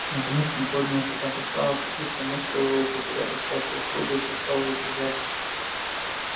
наконец он поднялся так устало как будто мускулы его потеряли всякую упругость и стал запрягать